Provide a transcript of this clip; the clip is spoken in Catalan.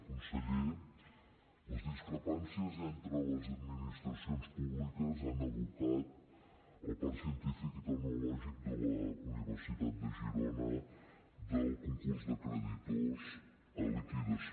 conseller les discrepàncies entre les administracions públiques han abocat el parc científic i tecnològic de la universitat de girona del concurs de creditors a liquidació